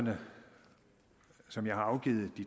som jeg har afgivet